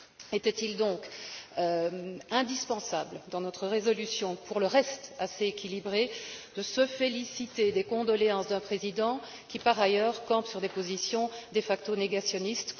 Était il donc indispensable, dans notre résolution, pour le reste assez équilibrée, de se féliciter des condoléances d'un président qui, par ailleurs, campe sur des positions de facto négationnistes?